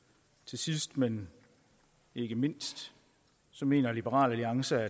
sidst men ikke mindst mener liberal alliance at